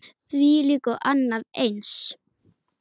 Þvílíkt og annað eins.